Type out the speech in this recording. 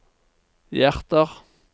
hjerter